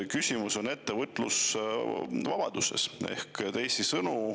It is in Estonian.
Küsimus on ettevõtlusvabaduses.